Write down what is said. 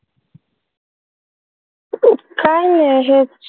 काही नाही हेच.